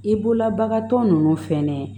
I bolola bagantɔ ninnu fɛnɛ